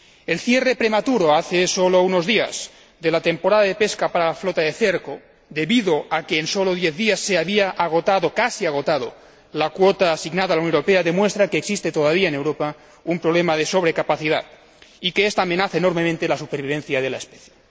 El cierre prematuro, hace sólo unos días, de la temporada de pesca para la flota de cerco, debido a que en solo 10 días se había agotado casi agotado la cuota asignada a la Unión Europea, demuestra que existe todavía en Europa un problema de sobrecapacidad y que esta amenaza enormemente la supervivencia de la especie.